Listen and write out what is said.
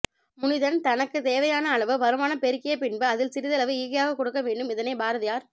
முனிதன் தனக்குத் தேவையான அளவு வருமானம் பெருக்கிய பின்பு அதில் சிறிதளவு ஈகையாகக் கொடுக்க வேண்டும் இதனை பாரதியார்